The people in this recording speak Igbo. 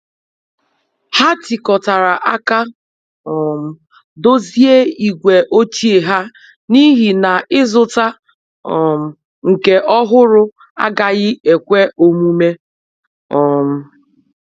Ha tikotara aka um dozie igwe ochie ha n'ihi na ịzụta um nke ọhụrụ agaghị ekwe omume. um